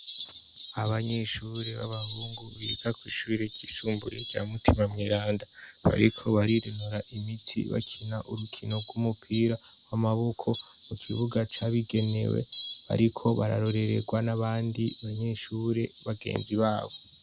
Abanyeshure b'abahungu biga kw'ishuri rya mutima mweranda bariko barinonora imitsi bakina urukino gw'umupira w'amaboko mukibuga cabigenewe. Bariko bararoreregwa n'abandi banyeshure bagenzi babo.